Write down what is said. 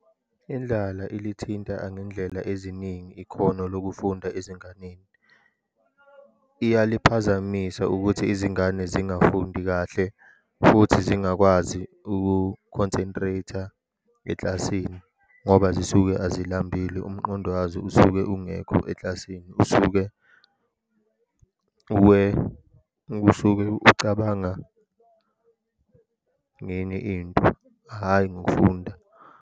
Indlala elithinta angendlela eziningi ikhono lokufunda ezinganeni. Iyaliphazamisa ukuthi izingane zingafundi kahle, futhi zingakwazi uku-concentrate-a eklasini, ngoba zisuke azihambile. Umqondo wazo usuke ungekho eklasini, usuke usuke ucabanga ngenye into, hhayi ngokufunda.